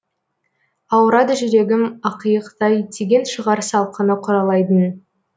ауырады жүрегім ақиықтай тиген шығар салқыны құралайдың